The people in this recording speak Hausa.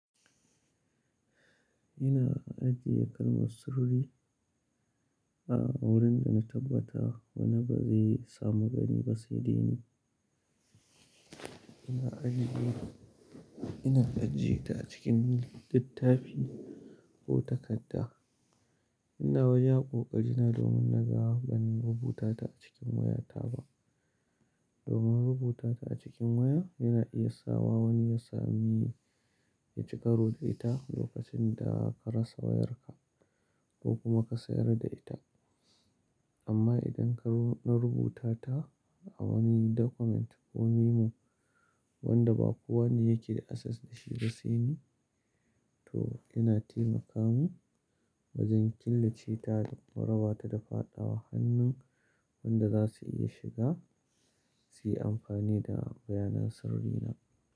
Ina ajiye kalmar sirri a wurin da na tabbata wani ba zai samu gani ba sai dai ni. Ina ajiyeta a cikin littafi ko takadda. Ina wajen ƙoƙari na domin na ga bani rubuta ta a cikin wayata ba. Domin rubuta ta a cikin waya yana iya sawa wani ya sami ya ci karo da ita lokacin da ka rasa wayarka ko kuma ka sayar da ita. Amma idan ka na rubuta ta a wani document ko memo wanda ba kowane yake da access da shi ba sai ni, to yana taimaka mun wajen killace ta da raba ta da faɗa wa hannun wanda za su iya shiga su yi amfani da bayanan sirrina.